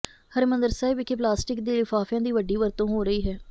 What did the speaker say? ਹਰਿਮੰਦਰ ਸਾਹਿਬ ਵਿਖੇ ਪਲਾਸਟਿਕ ਦੇ ਲਿਫ਼ਾਫ਼ਿਆਂ ਦੀ ਵੱਡੀ ਵਰਤੋਂ ਹੋ ਰਹੀ ਹੈ